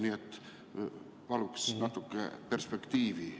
Nii et paluks natuke perspektiivi.